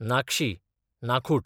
नाकशी, नाखूट